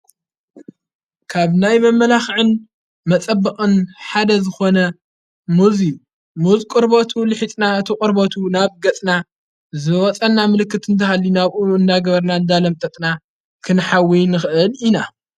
ካብ ናይ በመመላኽዕን መጸበቕን ሓደ ዝኾነ ሙዙዩ ሙዝቁርበቱ ልሒጥና እቲ ቖርበቱ ናብ ገጽና ዝወጸና ምልክት እንተሃሊ ናብኡኑ እንናግበርና እንዳለም ጠጥና ክንሓዊይን ኽእል ኢና::